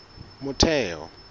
motheo